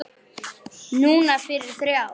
Núna fyrir þrjá.